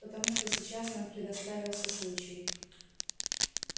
потому что сейчас нам предоставился случай